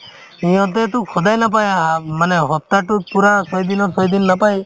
সিহঁতেতো সদায় নাপাই half মানে সপ্তাহতোতো ছয় দিনৰ পূৰা ছয় দিন নাপায়